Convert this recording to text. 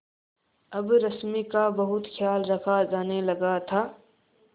अब रश्मि का बहुत ख्याल रखा जाने लगा था